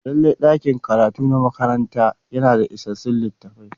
Lallai ɗakin karatu na makaranta yana da isassun littattafai.